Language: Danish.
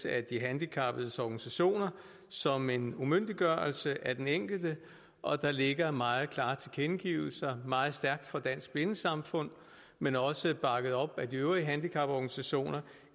af de handicappedes organisationer som en umyndiggørelse af den enkelte og der ligger meget klare tilkendegivelser meget stærkt fra dansk blindesamfund men også bakket op af de øvrige handicaporganisationer